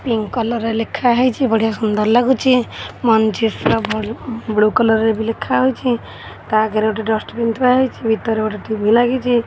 Pink colour ରେ ଲେଖା ହେଇଚି। ବଢ଼ିଆ ସୁନ୍ଦର ଲାଗୁଚି। ବ୍ଲୁ କଲର୍ ରେ ବି ଲେଖା ହୋଇଚି। ତା ଆଗରେ ଡଷ୍ଟବିନ ଥୁଆ ହୋଇଚି। ଭିତରେ ଗୋଟେ ଟି_ଭି ଲାଗିଚି